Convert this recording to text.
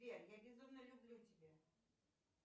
сбер я безумно люблю тебя